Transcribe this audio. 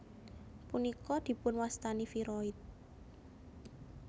Punika dipunwastani viroid